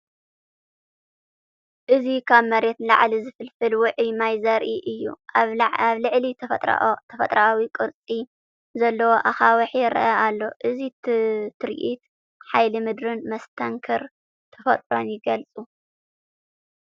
እዚ ካብ መሬት ንላዕሊ ዝፍልፍል ውዑይ ማይ ዘርኢ እዩ። ኣብ ልዕሊ ተፈጥሮኣዊ ቅርጺ ዘለዎ ኣኻውሕ ይረአ ኣሎ። እዚ ትርኢት ሓይሊ ምድርን መስተንክር ተፈጥሮን ይገልጽ።